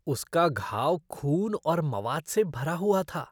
उसका घाव खून और मवाद से भरा हुआ था।